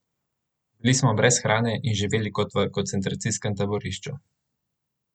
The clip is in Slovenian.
Bili smo brez hrane in živeli kot v koncentracijskem taborišču.